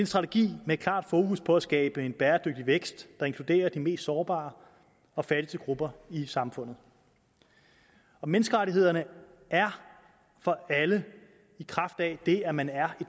strategi med klart fokus på at skabe en bæredygtig vækst der inkluderer de mest sårbare og fattige grupper i samfundet menneskerettighederne er for alle i kraft af det at man er